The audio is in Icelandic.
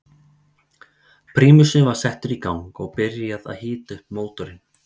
Prímusinn var settur í gang og byrjað að hita upp mótorinn.